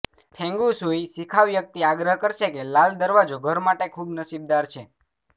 feng shui શિખાઉ વ્યક્તિ આગ્રહ કરશે કે લાલ દરવાજો ઘર માટે ખૂબ નસીબદાર છે